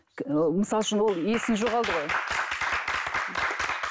мысалы үшін ол есін жоғалды ғой